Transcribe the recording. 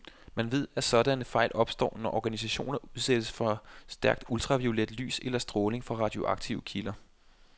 Man ved, at sådanne fejl opstår, når organismer udsættes for stærkt ultraviolet lys eller stråling fra radioaktive kilder.